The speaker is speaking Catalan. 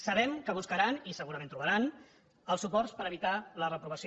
sabem que buscaran i segurament trobaran els suports per evitar la reprovació